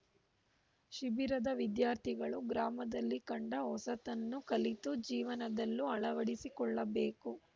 ಶಿಬಿರದ ವಿದ್ಯಾರ್ಥಿಗಳು ಗ್ರಾಮದಲ್ಲಿ ಕಂಡ ಹೊಸತನ್ನು ಕಲಿತು ಜೀವನದಲ್ಲೂ ಅಳವಡಿಸಿಕೊಳ್ಳಬೇಕು